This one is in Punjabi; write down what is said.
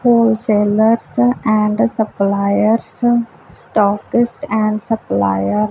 hole sellers and suppliers stockist and suppliers